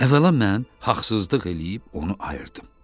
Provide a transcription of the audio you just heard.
Əvvəla mən haqsızlıq eləyib onu ayırdım.